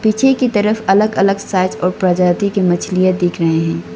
नीचे की तरफ अलग अलग साइज और प्रजाति की मछलियां दिख रहे हैं।